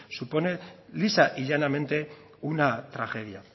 supone lisa y llanamente una tragedia